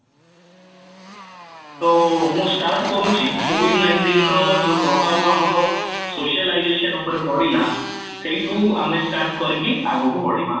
ତ ମୁଁ start କରୁଛି covid-nineteen ର ଯୋଉ ପ୍ରଭାବ ଆମର socialization ଉପରେ ପଡିଲା ସେଇଠୁ ଆମେ start କରିକି ଆଗକୁ ବଢିବା